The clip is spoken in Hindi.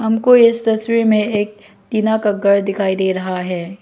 हमको इस तस्वीर में एक टीना का घर दिखाई दे रहा है।